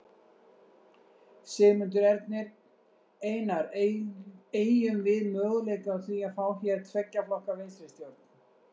Sigmundur Ernir: Einar, eygjum við möguleika á því að fá hér tveggja flokka vinstristjórn?